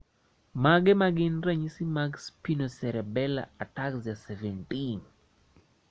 Mage magin ranyisi mag Spinocerebellar ataxia 17?